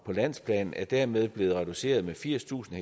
på landsplan er dermed blevet reduceret med firstusind